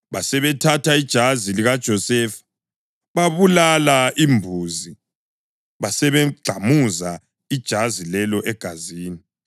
Basebethatha ijazi likaJosefa, babulala imbuzi basebegxamuza ijazi lelo egazini.